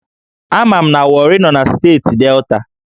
Ama m na Warri nọ na steeti Delta